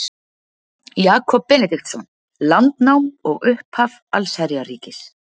Jakob Benediktsson: Landnám og upphaf allsherjarríkis